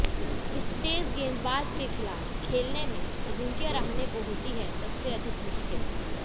इस तेज गेंदबाज के खिलाफ खेलने में अजिंक्य रहाणे को होती है सबसे अधिक मुश्किल